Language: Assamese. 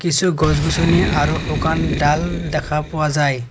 কিছু গছ গছনি আৰু শুকান ডাল দেখা পোৱা যায়।